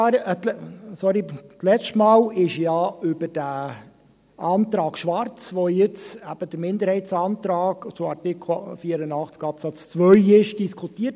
Das letzte Mal wurde ja über den Antrag Schwarz, der jetzt eben der Minderheitsantrag zu Artikel 84 Absatz 2 ist, diskutiert.